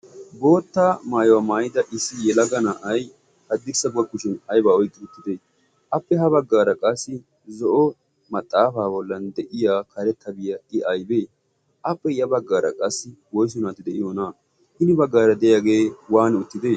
bootta maayuwaa maayida issi yelaga na'ay haddirsa buwakkuchin aybaa oyqqi uttite appe ha baggaara qaassi zoyo maxaafaa bollan de'iya karettabiyaa i a'bee appe ya baggaara qaassi wo'su naatti de'iyo ona'aa hini baggaara de'iyaagee waani uttite?